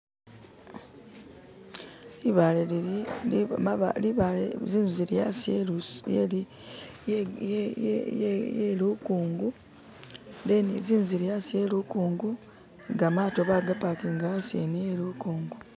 Libaale lili zinzu zili hasi he lukungu zinzu zili hasi he lukungu ni gamato bagapakinga hasi hene helikungu